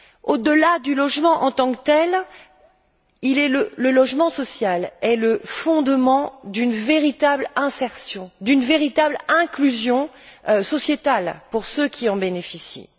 Au delà du logement en tant que tel, le logement social est le fondement d'une véritable insertion, d'une véritable inclusion sociale pour ceux qui en bénéficient.